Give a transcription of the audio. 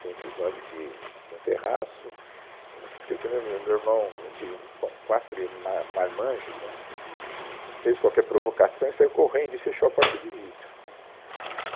Tem um episódio que tem um terraço, eu nunca esqueci, o meu, meu irmão, a gente, bom, quatro ir, ma, marmanjos, né, fez qualquer provocação e saiu correndo e fechou a porta de vidro, né.